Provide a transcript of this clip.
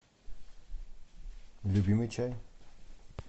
любимый чай